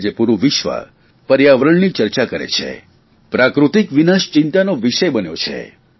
આજ પૂરૂં વિશ્વ પર્યાવરણની ચર્ચા કરે છે પ્રાકૃતિક વિનાશ ચિંતાનો વિષય બન્યો છે